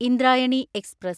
Indrayani express